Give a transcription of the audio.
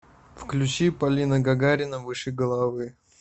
включи полина гагарина выше головы